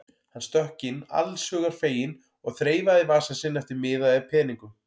Hann stökk inn allshugar feginn og þreifaði í vasa sinn eftir miða eða peningum.